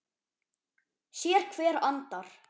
Sérhver andar